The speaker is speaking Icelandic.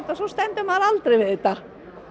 svo stendur maður aldrei við þetta